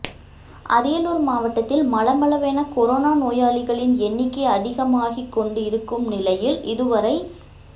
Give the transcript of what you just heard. அரியலூர் மாவட்டத்தில் மளமளவென கொரோனா நோயாளிகளின் எண்ணிக்கை அதிகமாகிக் கொண்டு இருக்கும் நிலையில் இதுவரை